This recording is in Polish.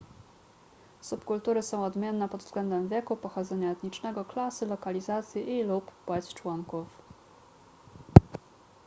subkultury są odmienne pod względem wieku pochodzenia etnicznego klasy lokalizacji i / lub płeć członków